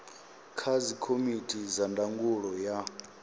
kha dzikomiti dza ndangulo ya